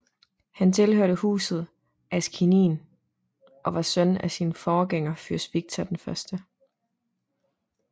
Han tilhørte Huset Askanien og var søn af sin forgænger fyrst Viktor 1